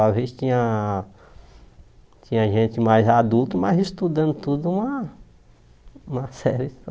Às vezes tinha tinha gente mais adulto, mas estudando tudo uma uma série só.